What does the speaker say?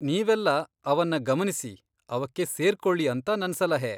ನೀವೆಲ್ಲ ಅವನ್ನ ಗಮನಿಸಿ, ಅವಕ್ಕೆ ಸೇರ್ಕೊಳಿ ಅಂತ ನನ್ ಸಲಹೆ.